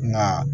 Nka